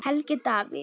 Helgi Davíð.